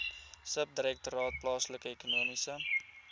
subdirektoraat plaaslike ekonomiese